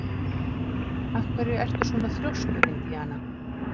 Af hverju ertu svona þrjóskur, Indiana?